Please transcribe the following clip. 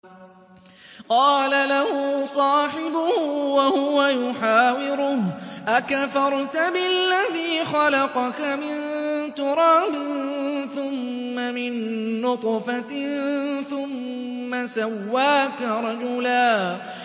قَالَ لَهُ صَاحِبُهُ وَهُوَ يُحَاوِرُهُ أَكَفَرْتَ بِالَّذِي خَلَقَكَ مِن تُرَابٍ ثُمَّ مِن نُّطْفَةٍ ثُمَّ سَوَّاكَ رَجُلًا